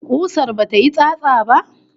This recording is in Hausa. Kusar bata yi tsatsa ba?